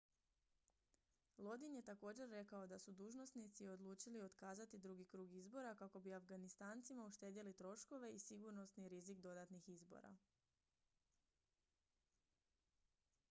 lodin je također rekao da su dužnosnici odlučili otkazati drugi krug izbora kako bi afganistancima uštedjeli troškove i sigurnosni rizik dodatnih izbora